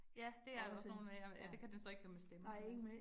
Ja, det er der også nogle af, ja ja det kan den så ikke høre med stemmer